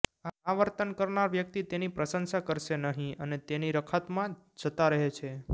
આ વર્તન કરનાર વ્યક્તિ તેની પ્રશંસા કરશે નહીં અને તેની રખાતમાં જતા રહે છે